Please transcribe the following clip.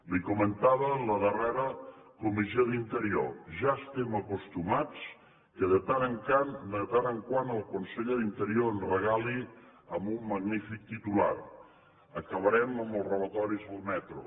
li ho comentava en la darrera comissió d’interior ja estem acostumats que de tant en tant el conseller d’interior ens regali un magnífic titular acabarem amb els robatoris al metro